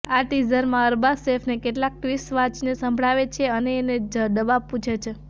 આ ટીઝરમાં અરબાઝ સેફને કેટલાક ટ્વિટસ વાંચીને સંભળાવે છે અને એને ડવાબ પૂછે છે